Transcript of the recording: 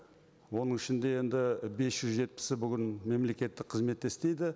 оның ішінде енді бес жүз жетпісі бүгін мемлекеттік қызметте істейді